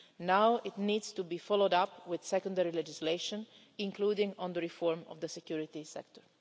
Now it needs to be followed up with secondary legislation, including on reform of the security sector.